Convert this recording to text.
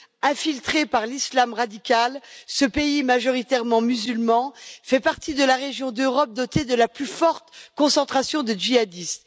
Infiltré par l'islam radical, ce pays majoritairement musulman fait partie de la région d'Europe dotée de la plus forte concentration de djihadistes.